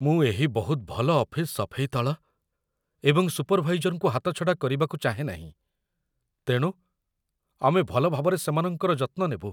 ମୁଁ ଏହି ବହୁତ ଭଲ ଅଫିସ୍ ସଫେଇ ଦଳ ଏବଂ ସୁପର୍ଭାଇଜର୍‌ଙ୍କୁ ହାତଛଡ଼ା କରିବାକୁ ଚାହେଁ ନାହିଁ। ତେଣୁ, ଆମେ ଭଲ ଭାବରେ ସେମାନଙ୍କର ଯତ୍ନ ନେବୁ।